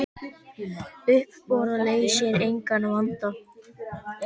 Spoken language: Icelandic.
Uppboð leysir engan vanda.